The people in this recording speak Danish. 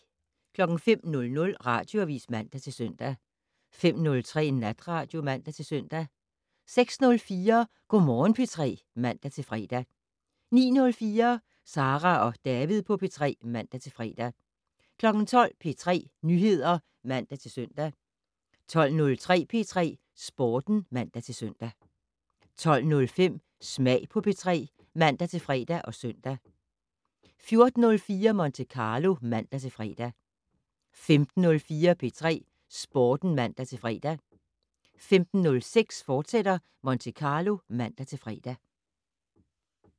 05:00: Radioavis (man-søn) 05:03: Natradio (man-søn) 06:04: Go' Morgen P3 (man-fre) 09:04: Sara og David på P3 (man-fre) 12:00: P3 Nyheder (man-søn) 12:03: P3 Sporten (man-søn) 12:05: Smag på P3 (man-fre og søn) 14:04: Monte Carlo (man-fre) 15:04: P3 Sporten (man-fre) 15:06: Monte Carlo, fortsat (man-fre)